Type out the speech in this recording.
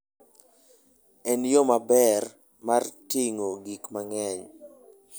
En yo maber mar ting'o gik mang'eny.